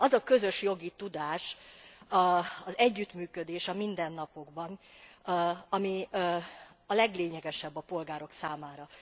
Az a közös jogi tudás, az együttműködés a mindennapokban, amely a leglényegesebb a polgárok számára.